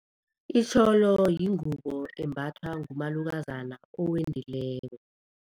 Itjholo yingubo embathwa ngumalukazana owendileko.